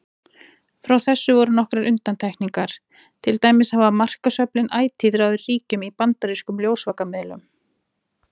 Frá þessu voru nokkrar undantekningar, til dæmis hafa markaðsöflin ætíð ráðið ríkjum í bandarískum ljósvakamiðlum.